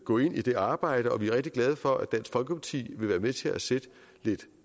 gå ind i det arbejde og vi er rigtig glade for at dansk folkeparti vil være med til at sætte lidt